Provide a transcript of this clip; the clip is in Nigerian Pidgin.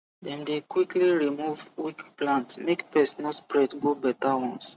dem dey quickly remove weak plant make pest no spread go better ones